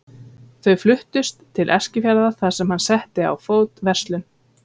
Þau fluttust til Eskifjarðar þar sem hann setti á fót verslun.